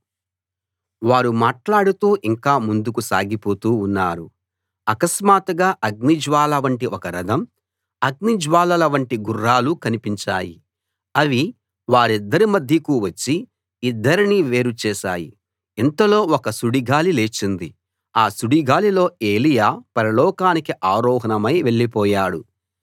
వారు మాట్లాడుతూ ఇంకా ముందుకు సాగిపోతూ ఉన్నారు అకస్మాత్తుగా అగ్నిజ్వాల వంటి ఒక రథం అగ్నిజ్వాలల వంటి గుర్రాలూ కనిపించాయి అవి వారిద్దరి మధ్యకు వచ్చి ఇద్దరినీ వేరు చేశాయి ఇంతలో ఒక సుడి గాలి లేచింది ఆ సుడిగాలిలో ఎలీయా పరలోకానికి ఆరోహణమై వెళ్ళిపోయాడు